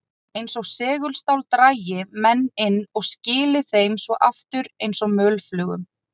Eins og segulstál drægi menn inn og skili þeim svo aftur eins og mölflugum.